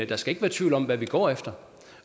der skal ikke være tvivl om hvad vi går efter